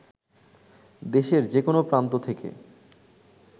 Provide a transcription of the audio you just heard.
দেশের যেকোনো প্রান্ত থেকে